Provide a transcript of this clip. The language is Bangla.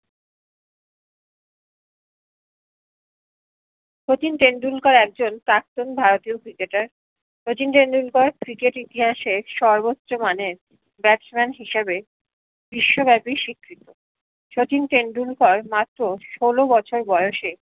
শচীন টেন্ডুলকার একজন প্রাক্তন ভারতীয় ক্রিকেটার শচীন টেন্ডুলকার ক্রিকেট ইতিহাসে সর্বোচ্চ মানের batsman হিসেবে বিশ্বব্যাপী স্বীকৃত শচীন টেন্ডুলকার মাত্র ষোল বছর বয়সে